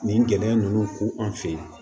Nin gɛlɛya ninnu ko an fe yen